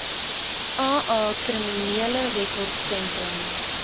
aa kriminele rekordsentrum